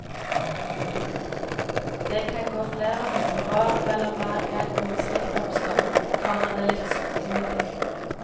Det kan gå flere hundre år mellom hver gang noe slikt oppstår, kommer det litt sørgmodig.